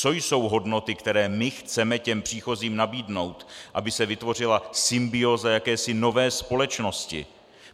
Co jsou hodnoty, které my chceme těm příchozím nabídnout, aby se vytvořila symbióza jakési nové společnosti?